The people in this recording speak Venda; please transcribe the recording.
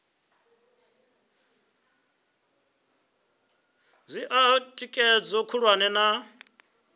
zwi oa thikhedzo khulwane na